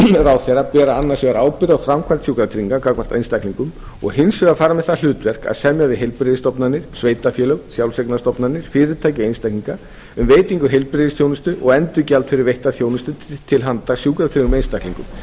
ráðherra bera annars vegar ábyrgð á framkvæmd sjúkratrygginga gagnvart einstaklingum og hins vegar fara með það hlutverk að semja við heilbrigðisstofnanir sveitarfélög sjálfseignarstofnanir fyrirtæki og einstaklinga um veitingu heilbrigðisþjónustu og endurgjald fyrir veitta þjónustu til handa sjúkratryggðum einstaklingum